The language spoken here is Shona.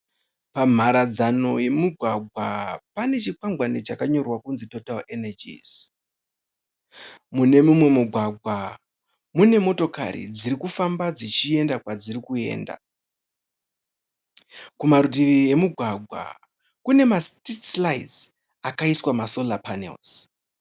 Pamharadzano yemumugwagwa pane chikwangwani chakanyorwa kunzi Total energies mune mumwe mugwagwa mune motokari dzirikufamba dzichienda kwadziri kuenda kumarutivi emugwagwa kune masitiriti raiti akaiswa masola panera.